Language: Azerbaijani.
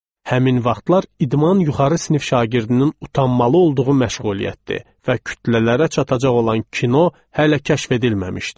Həmin vaxtlar idman yuxarı sinif şagirdinin utanmalı olduğu məşğuliyyətdir və kütlələrə çatacaq olan kino hələ kəşf edilməmişdi.